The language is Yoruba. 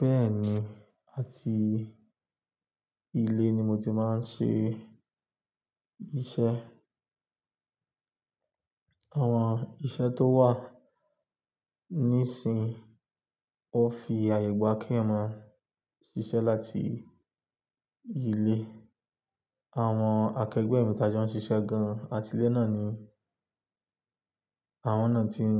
Bẹ́ẹ̀ni, àti ilé ni mo ti máa ń ṣe iṣẹ́. Àwọn iṣẹ́ tó wà nísinsìnyí ó fi àyè gba kí eyan ma ṣiṣẹ́ láti ilé. Àwọn akẹgbẹ́ mi ti a jo ń ṣiṣẹ́ gan-an. Atilẹ́ náà ni àwọn náà ti ń